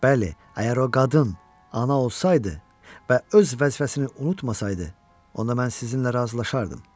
Bəli, əgər o qadın ana olsaydı və öz vəzifəsini unutmasaydı, onda mən sizinlə razılaşardım.